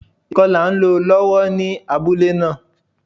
Ìkọlà n lo lọ́wọ́ ní abúlé náà